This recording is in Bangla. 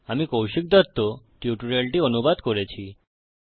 আমি কৌশিক দত্ত টিউটোরিয়ালটি অনুবাদ করেছি